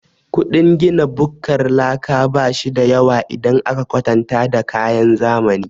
Ƙudin gina bukkar laka bashida yawa idan aka kwatanta da kayan zamani.